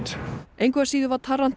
engu að síður var